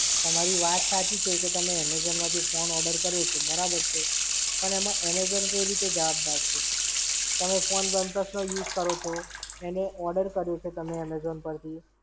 તમારી વાત સાચી છે કે તમે Amazon માંથી phone order કર્યો છે. બરાબર છે. પણ એમાં Amazon કઈ રીતે જવાબદાર છે? તમે phone oneplus નો use કરો છો. એને Order કર્યો છે તમે Amazon પરથી,